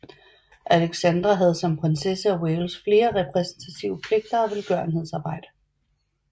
Alexandra havde som prinsesse af Wales flere repræsentative pligter og velgørenhedsarbejde